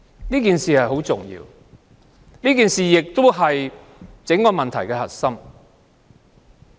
這點很重要，也是整個問題的核心。